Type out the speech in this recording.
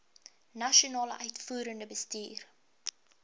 nasionale uitvoerende bestuur